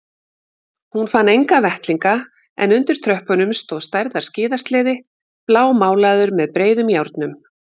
Hún fann enga vettlinga en undir tröppunum stóð stærðar skíðasleði blámálaður með breiðum járnum.